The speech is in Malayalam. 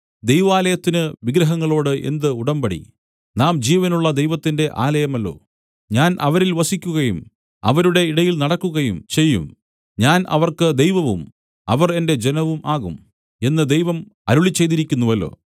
ദൈവാലയത്തിന് വിഗ്രഹങ്ങളോട് എന്ത് ഉടമ്പടി നാം ജീവനുള്ള ദൈവത്തിന്റെ ആലയമല്ലോ ഞാൻ അവരിൽ വസിക്കുകയും അവരുടെ ഇടയിൽ നടക്കുകയും ചെയ്യും ഞാൻ അവർക്ക് ദൈവവും അവർ എന്റെ ജനവും ആകും എന്ന് ദൈവം അരുളിച്ചെയ്തിരിക്കുന്നുവല്ലോ